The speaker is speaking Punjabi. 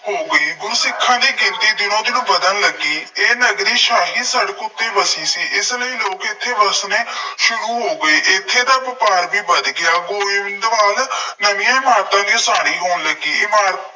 ਹੋ ਗਈ। ਗੁਰ-ਸਿੱਖਾਂ ਦੀ ਗਿਣਤੀ ਦਿਨੋ ਦਿਨ ਵੱਧਣ ਲੱਗੀ। ਇਹ ਨਗਰੀ ਸ਼ਾਹੀ ਸੜਕ ਉੱਤੇ ਵਸੀ ਸੀ। ਇਸ ਲਈ ਲੋਕ ਇੱਥੇ ਵਸਣੇ ਸ਼ੁਰੂ ਹੋ ਗਏ। ਇੱਥੇ ਦਾ ਵਪਾਰ ਵੀ ਵੱਧ ਗਿਆ। ਗੋਇੰਦਵਾਲ ਨਵੀਆਂ ਇਮਾਰਤਾਂ ਦੀ ਉਸਾਰੀ ਹੋਣ ਲੱਗੀ। ਇਮਾਰਤ